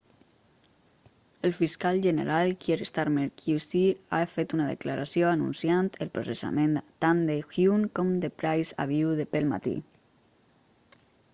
el fiscal general kier starmer qc ha fet una declaració anunciant el processament tant de huhne com de pryce avui pel matí